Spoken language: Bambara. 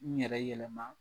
N yɛrɛ yɛlɛma.